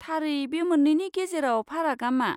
थारै बे मोन्नैनि गेजेराव फारागआ मा?